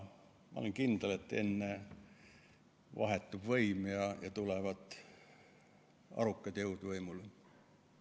Ma olen kindel, et enne vahetub võim ja tulevad arukad jõud võimule.